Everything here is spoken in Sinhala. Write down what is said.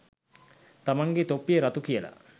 තමන්ගෙ තොප්පිය රතු කියල